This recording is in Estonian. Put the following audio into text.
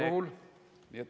Aeg!